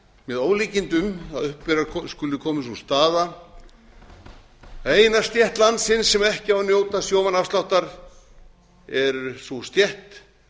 með ólíkindum að upp skuli komin sú staða að eina stétt landsins sem ekki á að njóta sjómannaafsláttar er sú stétt